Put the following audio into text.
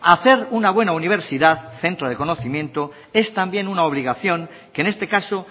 hacer una buena universidad centro de conocimiento es también una obligación que en este caso